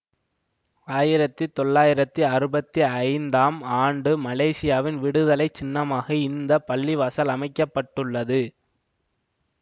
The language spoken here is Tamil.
ஆயிரத்தி தொளாயிரத்தி அறுபத்தி ஐந்தாம் ஆண்டு மலேசியாவின் விடுதலை சின்னமாக இந்த பள்ளிவாசல் அமைக்க பட்டுள்ளது